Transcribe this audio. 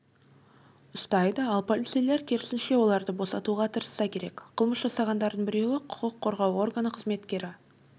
ұстайды ал полицейлер керісінше оларды босатуға тырысса керек қылмыс жасағандардың біреуі құқық қорғау органы қызметкері